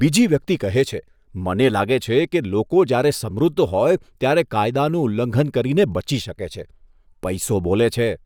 બીજી વ્યક્તિ કહે છે, મને લાગે છે કે લોકો જ્યારે સમૃદ્ધ હોય ત્યારે કાયદાનું ઉલ્લંઘન કરીને બચી શકે છે. પૈસો બોલે છે!